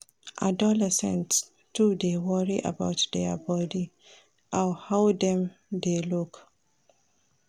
Adolescents too dey worry about their bodi and how dem dey look.